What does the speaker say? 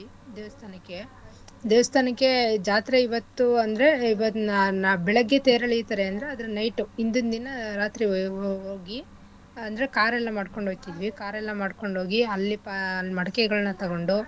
ದೇವಸ್ಥಾನಕ್ಕೆ ದೇವಸ್ಥಾನಕ್ಕೆ ಜಾತ್ರೆ ಇವತ್ತು ಅಂದ್ರೆ ಇವತ್ತು ನಾ ನಾ ಬೆಳಿಗ್ಗೆ ತೇರ್ ಎಳಿತರೆ ಅಂದ್ರೆ ಅದ್ರ night ಹಿಂದಿನ ದಿನ ರಾತ್ರಿ ಒ ಒ~ ಹೋಗಿ ಅಂದ್ರೆ car ಎಲ್ಲಾ ಮಾಡ್ಕೊಂಡು ಒಯ್ತಿದ್ವಿ car ಎಲ್ಲಾ ಮಾಡ್ಕೊಂಡು ಹೋಗಿ ಅಲ್ಲಿ ಮಡಕ್ಕೆಗಳನ್ನ ತಗೊಂಡು.